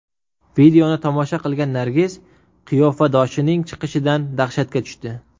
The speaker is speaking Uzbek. Videoni tomosha qilgan Nargiz qiyofadoshining chiqishidan dahshatga tushdi.